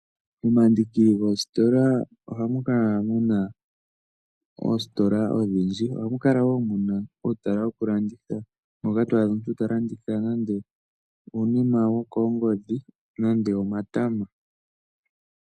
Omandiki goositola ohamu kala muna oositola odhindji. Ohamu kala wo muna uutala woku landitha. Moka to adha omuntu ta landitha nande uunima wokoongodhi nande omatama.